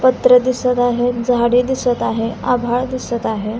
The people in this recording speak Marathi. पत्रे दिसत आहेत झाडे दिसत आहे आभाळ दिसत आहे.